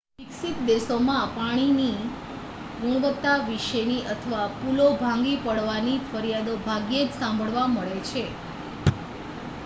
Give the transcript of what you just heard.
વિકસિત દેશોમાં પાણીની ગુણવત્તા વિશેની અથવા પુલો ભાંગી પડવાની ફરિયાદો ભાગ્યે જ સાંભળવા મળે છે